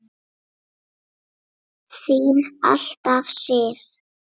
Þín alltaf, Sif.